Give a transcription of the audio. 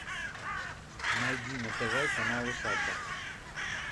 найди на тв канал усадьба